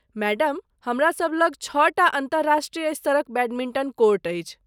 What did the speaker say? Madam, हमरा सभ लग छओटा अन्तर्राष्ट्रीय स्तरक बैडमिंटन कोर्ट अछि।